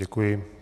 Děkuji.